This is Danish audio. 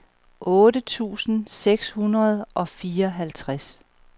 otte tusind seks hundrede og fireoghalvtreds